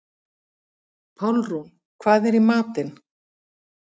Pálrún, hvað er í matinn?